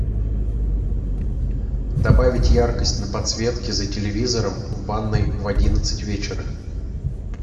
добавить яркость на подсветке за телевизором в ванной в одиннадцать вечера